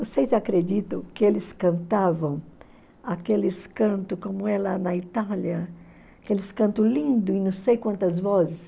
Vocês acreditam que eles cantavam aqueles cantos, como é lá na Itália, aqueles cantos lindos em não sei quantas vozes?